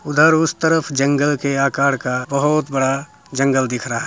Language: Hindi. उधर उष तरफ जंगल के आकार का बहुत बड़ा जंगल दिख रहा है।